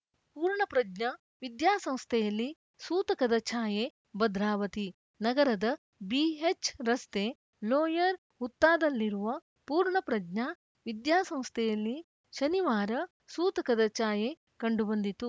ಪೂರ್ಣಪ್ರಜ್ಞ ವಿದ್ಯಾಸಂಸ್ಥೆಯಲ್ಲಿ ಸೂತಕದ ಛಾಯೆ ಭದ್ರಾವತಿ ನಗರದ ಬಿಎಚ್‌ ರಸ್ತೆ ಲೋಯರ್‌ ಹುತ್ತಾದಲ್ಲಿರುವ ಪೂರ್ಣ ಪ್ರಜ್ಞಾ ವಿದ್ಯಾಸಂಸ್ಥೆಯಲ್ಲಿ ಶನಿವಾರ ಸೂತಕದ ಛಾಯೆ ಕಂಡು ಬಂದಿತು